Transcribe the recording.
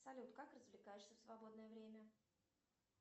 салют как развлекаешься в свободное время